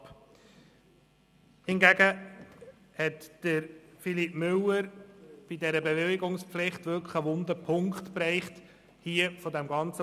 Müller hingegen hat bezüglich der Bewilligungspflicht einen wunden Punkt getroffen.